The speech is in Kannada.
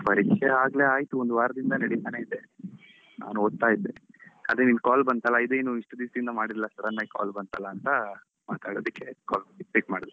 ಪರೀಕ್ಷೆ ಆಗ್ಲೇ ಆಯ್ತು ಒಂದು ವಾರದಿಂದ ನಡೀತಾನೇ ಇದೆ, ನಾನ್ ಓದ್ತಾ ಇದ್ದೆ ಅದೇ ನಿಂದು call ಬಂತಲ್ಲ ಇದೇನು ಇಷ್ಟು ದಿವಸದಿಂದ ಮಾಡಿಲ್ಲಾ sudden ಆಗಿ call ಬಂತಲ್ಲ ಅಂತ ಮಾತಾಡುದಕ್ಕೆ call pick ಮಾಡ್ದೆ.